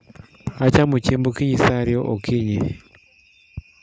Achamo chiemb okinyi saa ariyo okinyi